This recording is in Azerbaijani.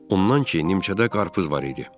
Ondan ki, nimçədə qarpız var idi.